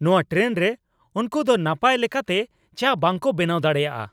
ᱱᱚᱶᱟ ᱴᱨᱮᱱ ᱨᱮ ᱩᱱᱠᱩ ᱫᱚ ᱱᱟᱯᱟᱭ ᱞᱮᱠᱟᱛᱮ ᱪᱟ ᱵᱟᱝᱠᱚ ᱵᱮᱱᱟᱣ ᱫᱟᱲᱮᱭᱟᱜᱼᱟ !